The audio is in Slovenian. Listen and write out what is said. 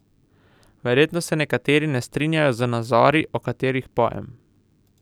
Verjetno se nekateri ne strinjajo z nazori, o katerih pojem.